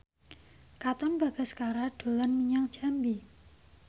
Katon Bagaskara dolan menyang Jambi